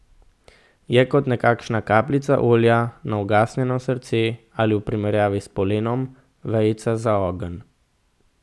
Je kot nekakšna kapljica olja na ugasnjeno srce ali v primerjavi s polenom, vejica za ogenj.